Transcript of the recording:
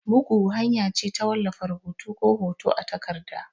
Bugu hanya ce ta wallafa rubutu ko hoto a takarda.